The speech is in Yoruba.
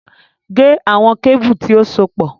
Gé àwọn kébù tí ó sopọ̀